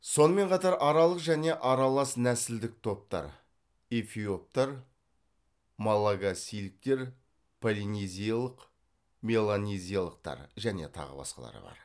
сонымен қатар аралық және аралас нәсілдік топтар эфиоптар малагасийліктер полинезиялық меланезиялықтар және тағы басқалары бар